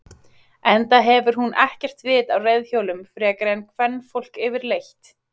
Enda hefur hún ekkert vit á reiðhjólum frekar en kvenfólk yfirleitt.